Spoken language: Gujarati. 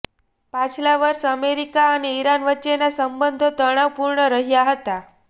પાછલા વર્ષે અમેરિકા અને ઈરાન વચ્ચેના સંબંધો તણાવપૂર્ણ રહ્યા હતા